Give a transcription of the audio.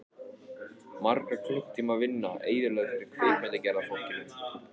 Margra klukkutíma vinna eyðilögð fyrir kvikmyndagerðarfólkinu.